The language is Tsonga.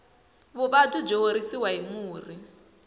vuvabyi byi horisiwa hi murhi